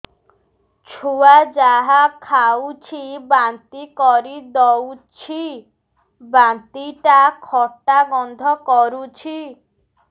ଛୁଆ ଯାହା ଖାଉଛି ବାନ୍ତି କରିଦଉଛି ବାନ୍ତି ଟା ଖଟା ଗନ୍ଧ କରୁଛି